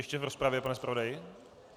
Ještě v rozpravě, pane zpravodaji?